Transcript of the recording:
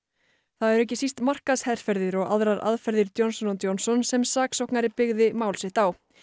það eru ekki síst markaðsherferðir og aðrar aðferðir Johnson Johnson sem saksóknari byggði mál sitt á